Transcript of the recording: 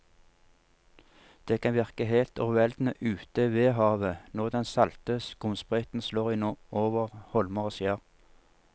Det kan virke helt overveldende ute ved havet når den salte skumsprøyten slår innover holmer og skjær.